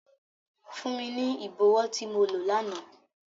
Fun mi ni ibọwọ ti mo lo làná!